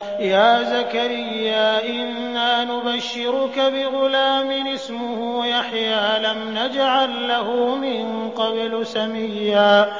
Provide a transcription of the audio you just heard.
يَا زَكَرِيَّا إِنَّا نُبَشِّرُكَ بِغُلَامٍ اسْمُهُ يَحْيَىٰ لَمْ نَجْعَل لَّهُ مِن قَبْلُ سَمِيًّا